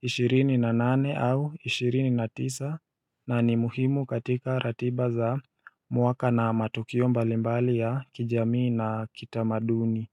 ishirini na nane au ishirini na tisa na ni muhimu katika ratiba za mwaka na matukio mbalimbali ya kijamii na kitamaduni.